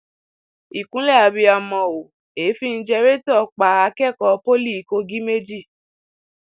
ìkúnlẹ abiyamọ o èéfín jẹrẹtọ pa akẹkọọ pọlì kogi méjì